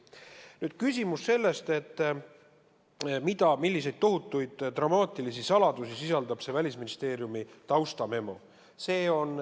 Nüüd küsimus sellest, mida, milliseid tohutuid dramaatilisi saladusi sisaldab see Välisministeeriumi taustamemo.